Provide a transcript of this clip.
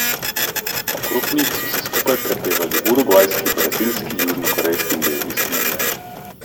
Okrog njih so skupaj prepevali urugvajski, brazilski, južnokorejski in belgijski navijači.